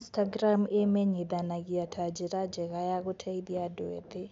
Instagram ĩmenyithanagia ta njĩra njega ya gũteithia andũ ethĩ